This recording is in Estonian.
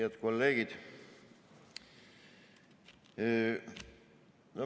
Head kolleegid!